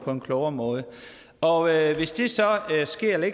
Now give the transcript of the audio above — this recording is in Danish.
på en klogere måde og hvis det så